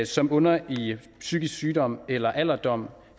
som bunder i psykisk sygdom eller alderdom